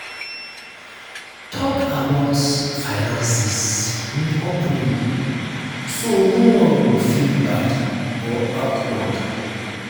talk about finances um openly so no one um go feel bad or awkward.